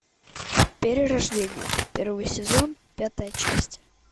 перерождение первый сезон пятая часть